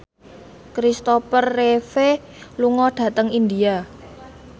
Christopher Reeve lunga dhateng India